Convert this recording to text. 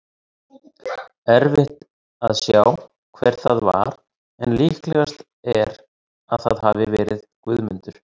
Erfitt að sjá hver það var en líklegast er að það hafi verið Guðmundur.